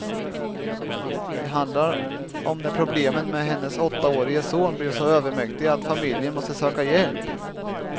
Det handlar om när problemen med hennes åttaårige son blev så övermäktiga att familjen måste söka hjälp.